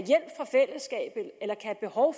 behov